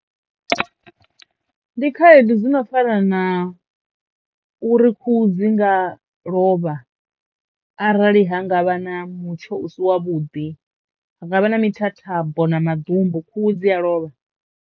Ndi khaedu dzi no fana na uri khuhu dzi nga lovha arali ha ngavha na mutsho u si wa vhuḓi, ha nga vha na mithathambo na maḓumbu khuhu dzi a lovha.